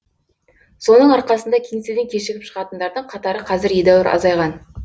соның арқасында кеңседен кешігіп шығатындардың қатары қазір едәуір азайған